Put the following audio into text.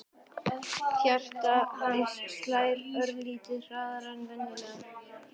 Hjarta hans slær örlitlu hraðar en venjulega.